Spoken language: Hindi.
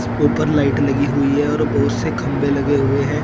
ऊपर लाइट लगी हुई है और बहुत से खंबे लगे हुए हैं।